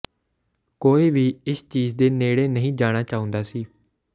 ਕੋਈ ਵੀ ਇਸ ਚੀਜ ਦੇ ਨੇੜੇ ਨਹੀਂ ਜਾਣਾ ਚਾਹੁੰਦਾ ਸੀ